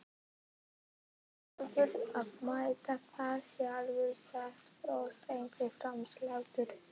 Þú verður að meta það sjálfur sagði Þorsteinn fastmæltur.